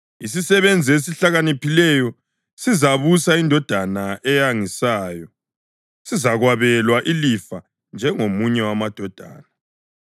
Isisebenzi esihlakaniphileyo sizabusa indodana eyangisayo, sizakwabelwa ilifa njengomunye wamadodana.